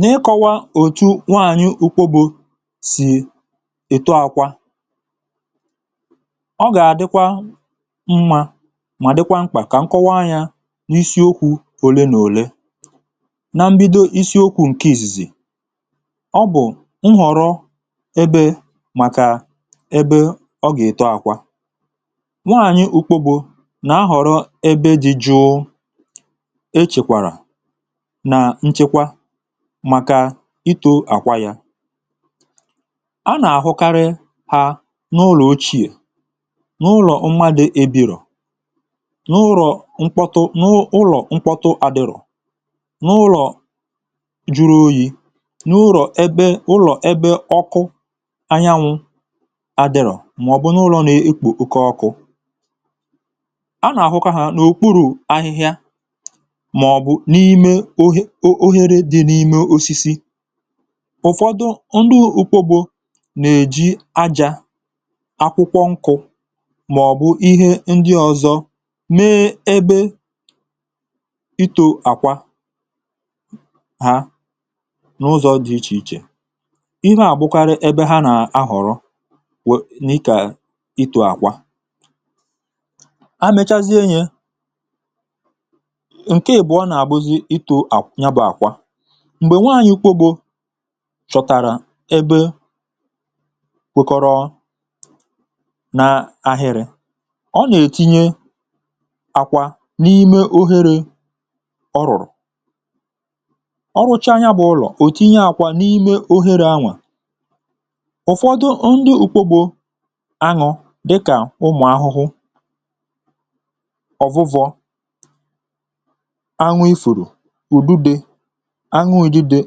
n’ịkọwa òtu nwaànyị ụkwụ bụ̀ sìi ị̀tọ akwȧ ọ gà-àdịkwa nwȧ mà dịkwa mkpà kà nkọwa anyȧ n’isiokwu̇ òle nà òle na mbido isiokwu̇ ǹke ìzìzì ọ bụ̀ nhọrọ ebe màkà ebe ọ gà-èto akwȧ nwaànyị ụkwụ bụ̀ nà ahọ̀rọ ebe dị̇ jụụ màkà itȯ àkwa ya a nà-àhụkarị ha n’ụlọ̀ ochiè n’ụlọ̀ mmadụ̇ ebirò n’ụlọ̀ mkpọtụ n’ụlọ̀ mkpọtụ adịrọ̀ n’ụlọ̀ juru oyi̇ n’ụlọ̀ ebe ụlọ̀ ebe ọkụ anyanwụ adịrọ̀ màọbụ̀ n’ụlọ̀ nà-ekpò oke ọkụ a nà-àhụkọ ha n’òkpuru̇ ahịhịa ụfọdụ ndụ ùkwo bụ̇ nà-èji ajȧ akwụkwọ nkụ̇ màọ̀bụ̀ ihe ndị ọzọ mee ẹbẹ itò àkwa ha n’ụzọ̇ dị ichè ichè ihe àkwụkarị ebe ha nà-ahọ̀rọ wụ̀ n’ikà ịtụ̀ àkwa a mèchazie yȧ m̀gbè nwaanyị̇ ukwȯ gbụ̀ chọ̀tàrà ebe kwekọrọọ nà ahịrị ọ nà-ètinye àkwà n’ime oghere ọ rụ̀rụ̀ ọ rụcha ya bụ̇ ụlọ̀ ò tinye àkwà n’ime oghere anwà ụ̀fọdụ ndị ukwȯ gbụ̇ añụ̀ dịkà ụmụ̀ ahụhụ ọ̀ vụvọ anwụ̇ ifòrò ụ̀dụ dị a nwèrè ihe dị̀ dị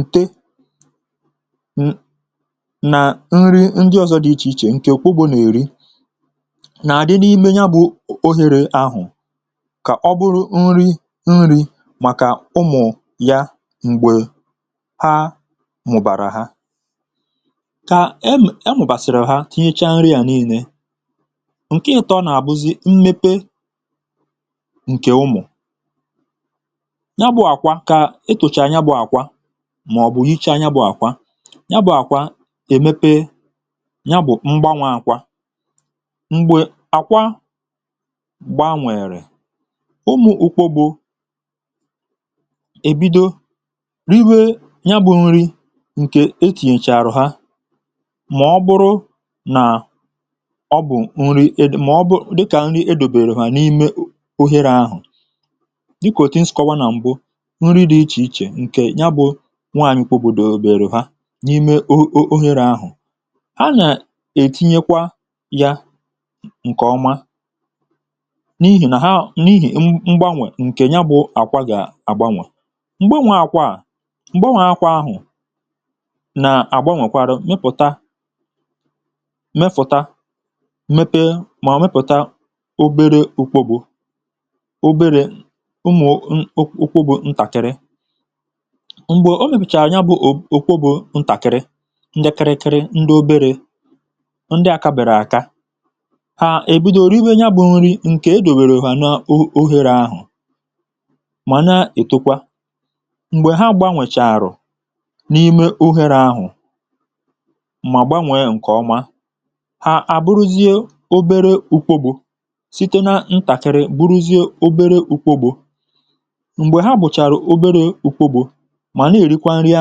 ǹte nà nri ndị ọ̀zọ dị̀ ichè ichè ǹkè kwụ́ bụ̀ nà èri nà-àdị n’ime ya bụ̀ òhèrè ahụ̀ kà ọ bụrụ nri nri̇ màkà ụmụ̀ ya m̀gbè ha mụ̀bàrà ha kà emu̇ bàsị̀rị̀ ha tinyechaa nri à niilė ǹke ịtọ̇ nà-àbụzi mmepe ǹkè umù màọ̀bụ̀ yiche ya bụ̇ àkwa ya bụ̇ àkwa èmepe ya bụ̀ m̀gbanwe àkwa m̀gbè àkwa gbanwèrè umùụkwọ̇ bụ̀ ebido riwee ya bụ̇ nri ǹkè etì nchàrà ha mà ọ bụrụ nà ọ bụ̀ nri edè mà ọ bụ̀ dịkà nri edòbèrèhà n’ime òhèrè ahụ̀ dịkà òtù nsìkọwa nà m̀bụ nwaànyị̀ kwogbòdò bèrè ha n’ime oherė ahụ̀ a nà-ètinyekwa yȧ ǹkè ọma n’ihì nà ha n’ihì mgbanwè ǹkè nya bụ̇ àkwà gà àgbanwè mgbe nwe àkwà a mgbanwè akwà ahụ̀ nà àgbanwè kwara mepụ̀ta mefùta mepe mà mepụ̀ta obere ụkwogbù obere ụmụ̀ ǹ ụkwogbù ntàkịrị m̀gbè o mèpìchàrà ya bụ̀ òkwogbȯ ntàkịrị ndị kịrịkịrị ndị obere ndị àkà bèrè àkà ha èbidòrò iwe ya bụ̇ nri̇ ǹkè edòbèrè hà n’ohere ahụ̀ mà na ètukwa m̀gbè ha gbanwèchàrà n’ime ohere ahụ̀ mà gbanwèe ǹkè ọma ha àbụrụzie obere ùkwogbȯ site na ntàkịrị bụrụzie obere ùkwogbȯ m̀gbè ha bụ̀chàrà obere ùkwogbȯ mà nà ìrìkwa nri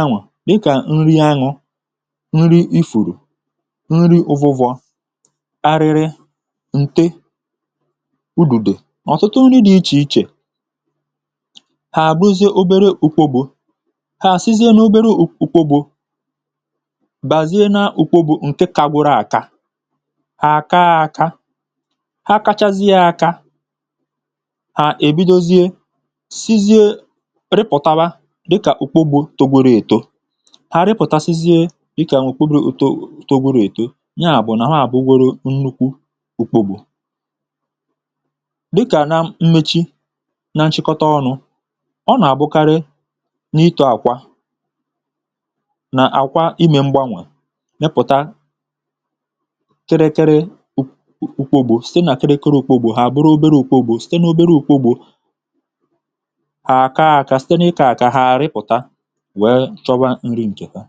anwà dịkà nri anwụ̇ nri ifùrù nri u̇vụ̇vụ̀ arịrị ǹte udụ̇dị̀ ọ̀tụtụ nri̇ dị̀ ichè ichè ha àbụzie obere ụ̀kwọ̇ bụ̀ ha sịzie n’ụbėrụ ụ̀kwọ̇ bụ̀ bàzie n’ụ̀kwọ̇ bụ̀ ǹke kagwuru àkà ha àkà àkà ha kachazịa àkà ha èbidozie sịzie gharịpụ̀tàsịzie ịkȧ n’òkpòbò ùtò ùtògbò èto ya bụ̀ nà ha bụ̀ ùgworo nnukwu ùkpògbò dịkà na mmechi na nchịkọta ọnụ̇ ọ nà-àbụkarị n’itọ̇ àkwà nà àkwa imė mgbanwà mepụ̀ta kerekere ùkpògbò site nà kerekere ùkpògbò hà àbụrụ obere ùkpògbò site nà obere ùkpògbò ǹkèka